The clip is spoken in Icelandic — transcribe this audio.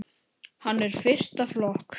Hann er fyrsta flokks.